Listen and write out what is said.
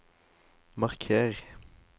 marker